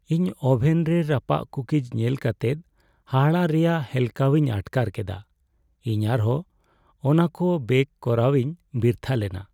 ᱤᱧ ᱳᱵᱷᱮᱱ ᱨᱮ ᱨᱟᱯᱟᱜ ᱠᱩᱠᱤᱡ ᱧᱮᱞ ᱠᱟᱛᱮ ᱦᱟᱦᱟᱲᱟᱜ ᱨᱮᱭᱟᱜ ᱦᱮᱞᱠᱟᱣᱤᱧ ᱟᱴᱠᱟᱨ ᱠᱮᱫᱟ ᱾ᱤᱧ ᱟᱨᱦᱚᱸ ᱚᱱᱟᱠᱚ ᱵᱮᱠ ᱠᱚᱨᱟᱣᱤᱧ ᱵᱤᱨᱛᱷᱟᱹ ᱞᱮᱱᱟ ᱾